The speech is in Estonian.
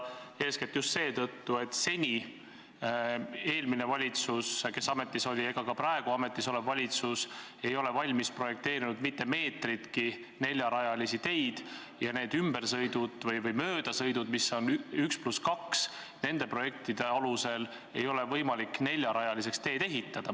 Seda eeskätt just seetõttu, et ei eelmine valitsus ega ka praegu ametis olev valitsus ei ole valmis projekteerinud mitte meetritki neljarajalisi teid ja neid möödasõiduradadega 1 + 2 lõike ei ole nende projektide alusel võimalik neljarajaliseks ehitada.